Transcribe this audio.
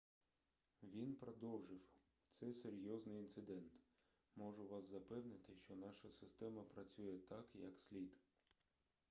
він продовжив це серйозний інцидент можу вас запевнити що наша система працює так як слід